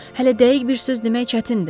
Hələ dəqiq bir söz demək çətindir.